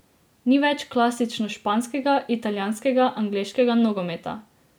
Ni več klasično španskega, italijanskega, angleškega nogometa.